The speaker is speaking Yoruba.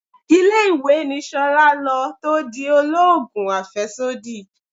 Ilé-ìwé ni Ṣolá lọ tó di oloogun afesodi.